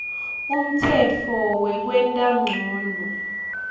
umtsetfo wekwenta ncono